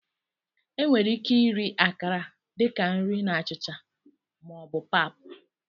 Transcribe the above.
Enwere ike iri Akara dị ka nri na achịcha ma ọ bụ pap.